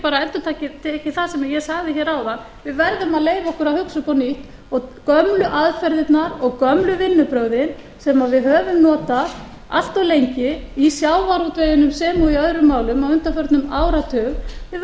bara endurtekið það sem ég sagði hér áðan við verðum að leyfa okkur að hugsa upp á nýtt og gömlu aðferðirnar og gömlu vinnubrögðin sem við höfum notað allt of lengi í sjávarútveginum sem og í öðrum málum á undanförnum áratug við verðum að